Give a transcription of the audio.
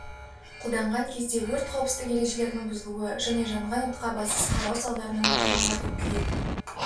қолданған кезде өрт қауіпсіздік ережелерінің бұзылуы және жанған отқа абайсыз қарау салдарынан орын алады күйік